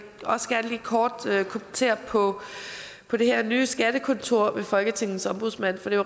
også gerne lige kort kommentere på på det her nye skattekontor ved folketingets ombudsmand for det